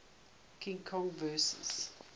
king kong vs